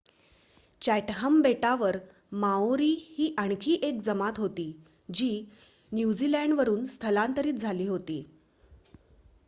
Chatham बेटांवर Maori ही आणखी एक जमात होती जी न्यूझीलंडवरून स्थलांतरित झाली होती